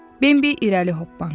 Bimbi irəli hoppandı.